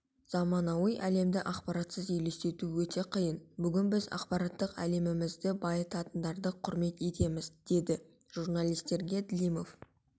заманауи әлемді ақпаратсыз елестету өте қиын бүгін біз ақпараттық әлемімізді байытатындарды құрмет етеміз деді журналисттерге длимов